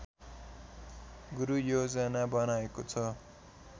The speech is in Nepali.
गुरूयोजना बनाएको छ